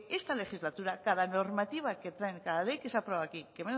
esta legislatura cada normativa que traen cada ley que se aprueba aquí que